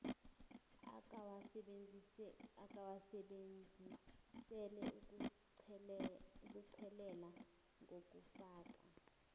akawasebenzisela ukuchelelela ngokufaka